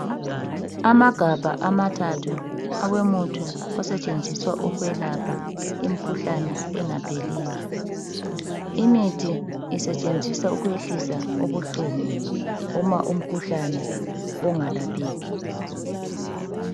Amagabha amathathu awomuthi osetshenziswa ukwelapha imikhuhlane engapheliyo. Imithi isetshenziswa ukwehlisa ubuhlungu uma umkhuhlane ungalapheki.